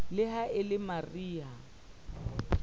le ha e le mariha